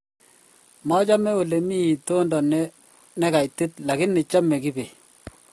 machame ole mii itondo ne kaitit lakini chame kibet